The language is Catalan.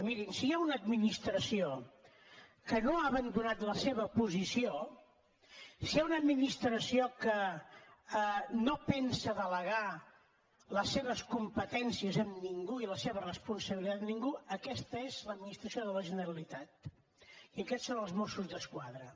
mirin si hi ha una administració que no ha abandonat la seva posició si hi ha una administració que no pensa delegar les seves competències en ningú i la seva responsabilitat en ningú aquesta és l’administració de la generalitat i aquests són els mossos d’esquadra